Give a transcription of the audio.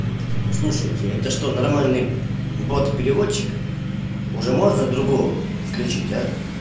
слушайте это что нормальный бот переводчик уже можно другого включить а